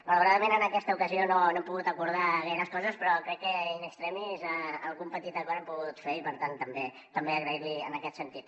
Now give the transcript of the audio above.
malauradament en aquesta ocasió no hem pogut acordar gaires coses però crec que in extremis algun petit acord hem pogut fer i per tant també donar li les gràcies en aquest sentit